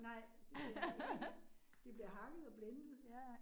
Nej, det. Det bliver hakket og blendet